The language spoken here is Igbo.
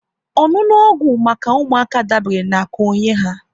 Ọṅụṅụ ọgwụ maka ụmụaka dabere na ka onye ha